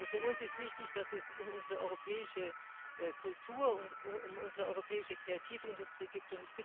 Für uns ist wichtig, dass es um unsere europäische Kultur und um unsere europäische Kreativindustrie geht.